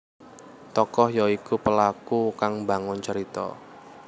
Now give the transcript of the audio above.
Tokoh ya iku pelaku kang mbangun carita